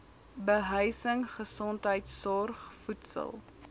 behuising gesondheidsorg voedsel